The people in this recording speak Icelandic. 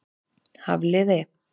Hafliði